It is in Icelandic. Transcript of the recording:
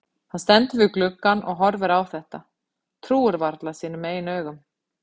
Hann stendur við gluggann og horfir á þetta, trúir varla sínum eigin augum.